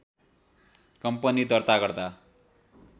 company दर्ता गर्दा